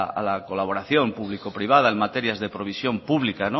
a la colaboración público privada en materias de provisión pública